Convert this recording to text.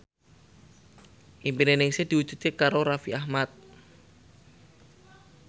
impine Ningsih diwujudke karo Raffi Ahmad